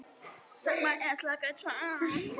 Henni var orðið sama.